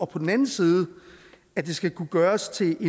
på den anden side skal kunne gøres til